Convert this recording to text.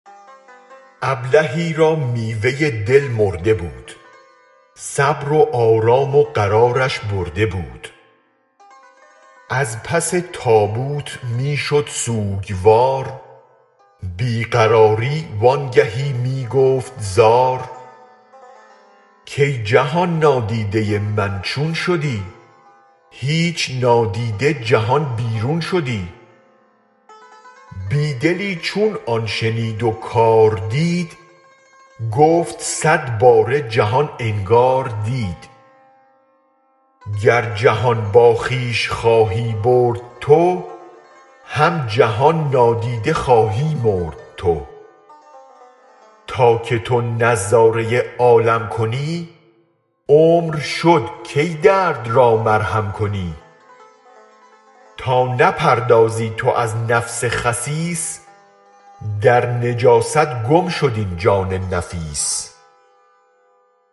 ابلهی را میوه دل مرده بود صبر و آرام و قرارش برده بود از پس تابوت می شد سوگوار بی قراری وانگهی می گفت زار کای جهان نادیده من چون شدی هیچ نادیده جهان بیرون شدی بی دلی چون آن شنید و کار دید گفت صد باره جهان انگار دید گر جهان با خویش خواهی برد تو هم جهان نادیده خواهی مرد تو تا که تو نظاره عالم کنی عمر شد کی درد را مرهم کنی تا نپردازی تو از نفس خسیس در نجاست گم شد این جان نفیس